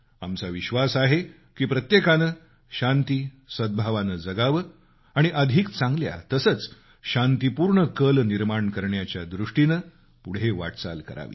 आमचा विश्वास आहे की प्रत्येकानं शांती सद्भावानं जगावं आणि अधिक चांगल्या तसंच शांतीपूर्ण भविष्य निर्माण करण्याच्या दृष्टीनं पुढे वाटचाल करावी